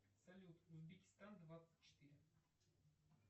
салют узбекистан двадцать четыре